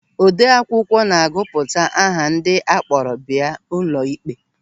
Ode akwụkwọ na-agụpụta aha ndị akpọrọ bịa ụlọịkpe.